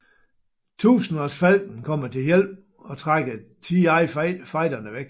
Tusindårsfalken kommer til hjælp og trækker TIE fighterne væk